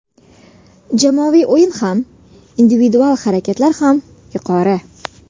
Jamoaviy o‘yin ham, individual harakatlar ham yuqori.